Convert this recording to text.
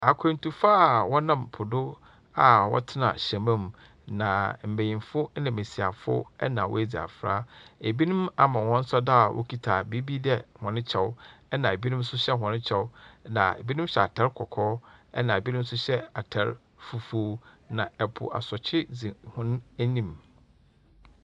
Akwantufo a wɔnam po do a wɔtena hyɛma mu. Na mbenyimfo na mbesiafo na wɔadzi afra. Ebinom ama wɔn sa do a wɔkita biribi dɛ wɔn kyɛw. Na bi nso hyɛ wɔn kyɛw. Na binom hyɛ atar kɔkɔɔ. Na binom hyɛ atar fufuw. Na po asɔkye dzi wɔn eyim.